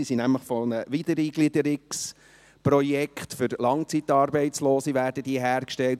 Sie werden von einem Wiedereingliederungsprojekt für Langzeitarbeitslose hergestellt.